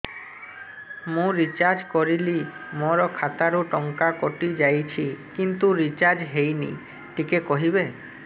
ମୁ ରିଚାର୍ଜ କରିଲି ମୋର ଖାତା ରୁ ଟଙ୍କା କଟି ଯାଇଛି କିନ୍ତୁ ରିଚାର୍ଜ ହେଇନି ଟିକେ କହିବେ